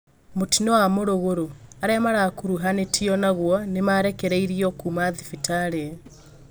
Mũtino wa mũrugurũ: arĩa marakuruhanĩtio nagũo nĩmarekereirio kuma thibitarĩ